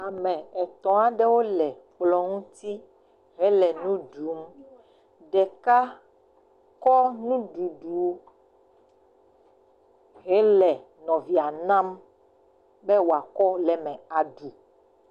Ame etɔ̃ aɖewo le kplɔ ŋuti hele nu ɖum. Ɖeka kɔ nuɖuɖu kɔ le nɔvia nam be wòakɔ le mw aɖu.